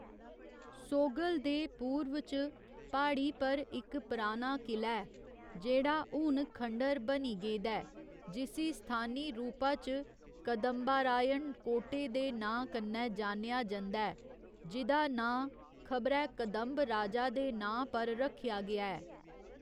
सोगल दे पूर्व च प्हाड़ी पर इक पराना किला ऐ, जेह्ड़ा हून खंडर बनी गेदा ऐ, जिसी स्थानी रूपा च कदंबारायण कोटे दे नांऽ कन्नै जानेआ जंदा ऐ, जि'दा नांऽ खबरै कदंब राजा दे नांऽ पर रक्खेआ गेआ ऐ।